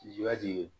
Ji yati